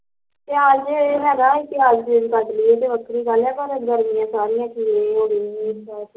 ਪਿਆਜ਼ ਜੇ ਹੈਗਾ ਪਿਆਜ਼ ਪਿਊਜ਼ ਕੱਟ ਲਈਏ ਤਾਂ ਵੱਖਰੀ ਗੱਲ ਐ ਪਰ ਗਰਮੀਆ ਸਾਰੇ ਖੀਰੇ ਖੁਰੇ ਲੈ ਆਉਂਦੇ